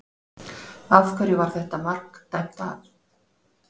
Af hverju var þetta mark dæmt af?